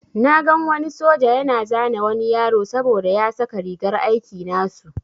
Na gan wani soja yana zane wani yaro saboda ya saka rigar aiki nasu.